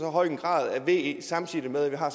høj grad af ve samtidig med at vi har